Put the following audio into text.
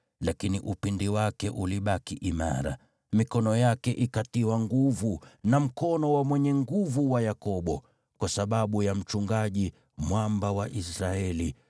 Lakini upinde wake ulibaki imara, mikono yake ikatiwa nguvu, na mkono wa Mwenye Nguvu wa Yakobo, kwa sababu ya Mchungaji, Mwamba wa Israeli,